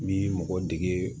N'i mɔgɔ dege